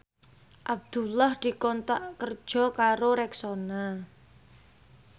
Abdullah dikontrak kerja karo Rexona